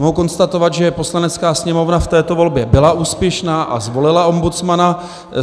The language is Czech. Mohu konstatovat, že Poslanecká sněmovna v této volbě byla úspěšná a zvolila ombudsmana.